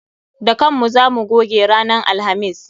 Da kan mu za mu goge ranan alhamis.